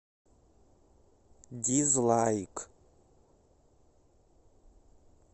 дизлайк